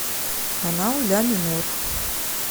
канал ля минор